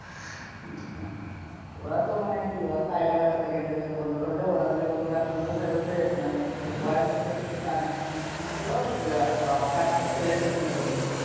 ওরা তো মানে কি ওরা চাইলে পরে সেকেন্ডের ভিতর বন্ধ করে দেয় ওরা যদি অন্য রাষ্ট্রে দিতে চাইছে, মানে হোয়েরের আরে সাথে কিছু সমস্যা হল প্লে স্টোরে বন্ধ করে দিল,